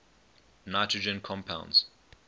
nitrogen compounds